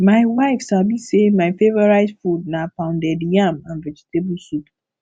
my wife sabi sey my favourite food na pounded yam and vegetable soup